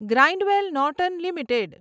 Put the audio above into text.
Grindwell Norton limited